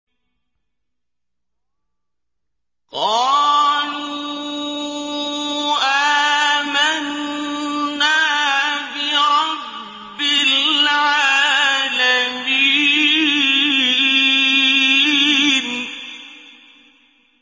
قَالُوا آمَنَّا بِرَبِّ الْعَالَمِينَ